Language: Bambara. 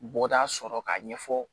Bɔda sɔrɔ k'a ɲɛfɔ